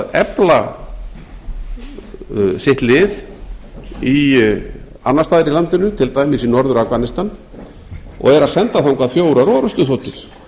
að efla sitt lið annars staðar í landinu til dæmis í norður afganistan og eru að senda þangað fjórar orrustuþotur